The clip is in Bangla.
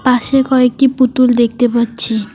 পাশে কয়েকটি পুতুল দেখতে পাচ্ছি।